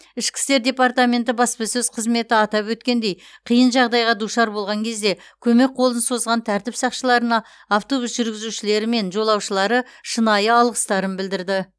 ішкі істер департаменті баспасөз қызметі атап өткендей қиын жағдайға душар болған кезде көмек қолын созған тәртіп сақшыларына автобус жүргізушілері мен жолаушылары шынайы алғыстарын білдірді